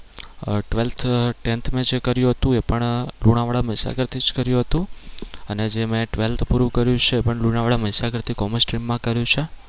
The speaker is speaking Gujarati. આહ twelfth tenth મેં જે કર્યું હતું એ પણ લુણાવાડા મહીસાગર થી જ કર્યું હતું અને જે મેં twelfth પૂરું કર્યું છે એ પણ લુણાવાડા મહીસાગર થી commerce stream માં કર્યું છે.